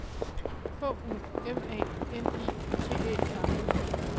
H U M A N I T Æ R